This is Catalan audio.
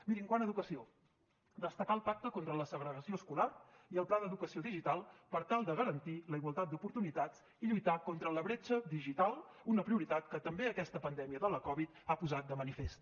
miri quant a educació destacar el pacte contra la segregació escolar i el pla d’educació digital per tal de garantir la igualtat d’oportunitats i lluitar contra la bretxa digital una prioritat que també aquesta pandèmia de la covid ha posat de manifest